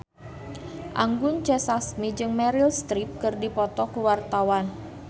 Anggun C. Sasmi jeung Meryl Streep keur dipoto ku wartawan